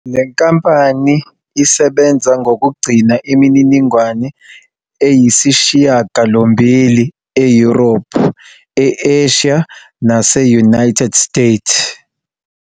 Le nkampani isebenza ngokugcina imininingwane eyisishiyagalombili eYurophu, e-Asia nase-United States.